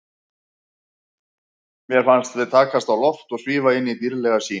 Mér fannst við takast á loft og svífa inn í dýrðlega sýn.